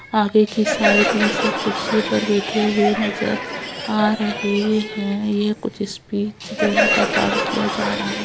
--आगे की साइड में सब कुर्सीयो पर बैठे हुए नजर आ रहे हैं यह कुछ स्पीच देने का काम किया जा रहा--